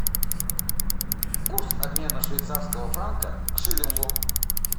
курс обмена швейцарского франка к шиллингу